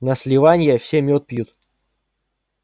на сливанье все мёд пьют